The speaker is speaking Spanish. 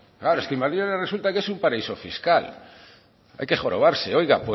claro es que madrid ahora resulta que es un paraíso fiscal hay que jorobarse oiga